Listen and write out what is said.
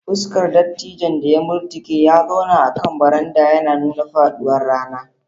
Fuskar dattijon da ya murtuke ya zauna akan baranda, yana nuna faɗuwar rana.